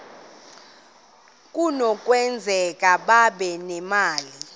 kunokwenzeka babe nemali